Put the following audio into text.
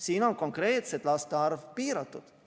Siin on konkreetselt laste arv piiratud.